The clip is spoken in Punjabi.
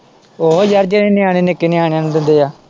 ਉਹੋ ਯਾਰ ਜਿਹੜੇ ਨਿਆਣੇ ਨਿੱਕੇ ਨਿਆਣਿਆਂ ਨੂੰ ਦਿੰਦੇ ਏ।